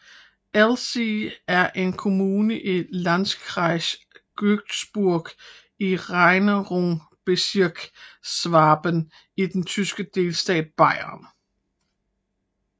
Ellzee er en kommune i Landkreis Günzburg i Regierungsbezirk Schwaben i den tyske delstat Bayern